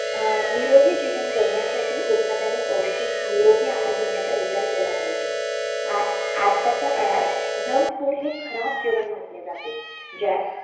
अ निरोगी जगण्यासाठी आपण एखाद्याणी निरोगी आहार घेतला पाहिजे